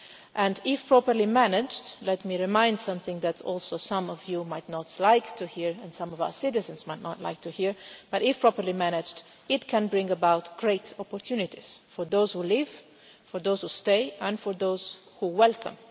and if properly managed, let me remind you of something that is also some of you might not like to hear, and some of our citizens might not like to hear, but if properly managed it can bring about great opportunities for those who leave, for those who stay and for those who welcome.